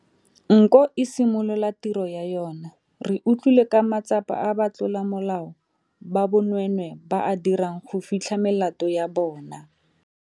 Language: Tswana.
Nko e simolola tiro ya yona, re utlwile ka matsapa a ba tlolamolao ba bonweenwee ba a dirang go fitlha melato ya bona.